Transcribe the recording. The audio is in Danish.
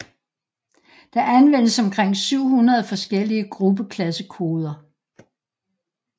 Der anvendes omkring 700 forskellige gruppeklassekoder